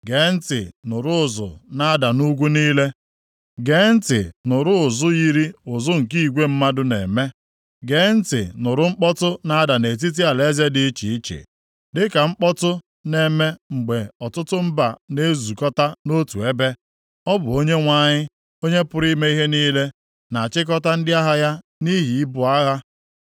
Gee ntị nụrụ ụzụ na-ada nʼugwu niile; gee ntị nụrụ ụzụ yiri ụzụ nke igwe mmadụ na-eme. Gee ntị nụrụ mkpọtụ na-ada nʼetiti alaeze dị iche iche. Dịka mkpọtụ na-eme mgbe ọtụtụ mba na-ezukọta nʼotu ebe. Ọ bụ Onyenwe anyị, Onye pụrụ ime ihe niile na-achịkọta ndị agha ya nʼihi ibu agha.